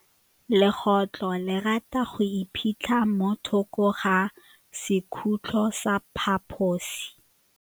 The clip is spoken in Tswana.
Legôtlô le rata go iphitlha mo thokô ga sekhutlo sa phaposi.